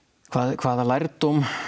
hvaða hvaða lærdóm